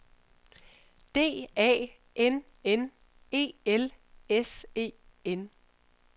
D A N N E L S E N